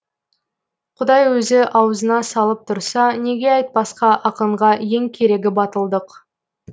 құдай өзі ауызына салып тұрса неге айтпасқа ақынға ең керегі батылдық